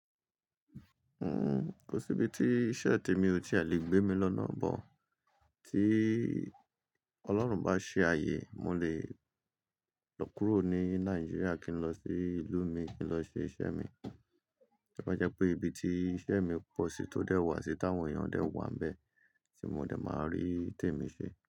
Kò síbi tí iṣẹ́ tèmi ò tí e le gbé mi lọ́nà bo Tí Ọlọ́run bá ṣe ààyè, mo lè lọ kúrò ní Nàìjíríà kí n lọ sí ìlú mi kí n lọ ṣe iṣẹ́ mi. To bá jẹ́ pé ibi tí iṣẹ́ mi pọ̀ sí tó dẹ́ wà sí táwọn èèyàn dẹ́ wà níbẹ̀ tí mo dẹ máa rí tèmi ṣe.